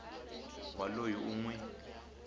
wa loyi u n wi